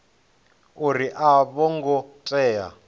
uri a vho ngo tea